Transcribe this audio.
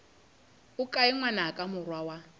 o kae ngwanaka morwa wa